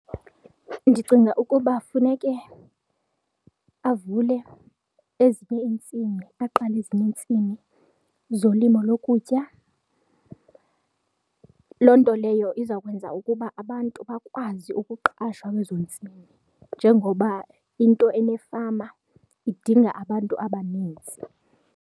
Ndicinga ukuba funeke avule ezinye iintsimi, aqale ezinye intsimi zolimo lokutya, loo nto leyo izawukwenza ukuba abantu bakwazi ukuqashwa kwezo ntsimi njengoba into enefama idinga abantu abanintsi.